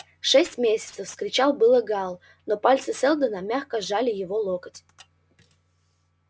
шесть месяцев вскричал было гаал но пальцы сэлдона мягко сжали его локоть